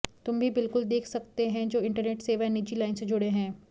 तुम भी बिल्कुल देख सकते हैं जो इंटरनेट सेवाएं निजी लाइन से जुड़े हैं